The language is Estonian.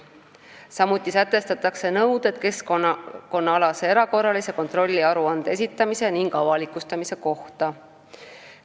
Samuti sätestatakse nõuded keskkonnaalase erakorralise kontrolli aruande esitamise ning avalikustamise kohta.